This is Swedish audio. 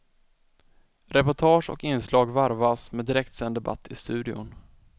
Reportage och inslag varvas med direktsänd debatt i studion.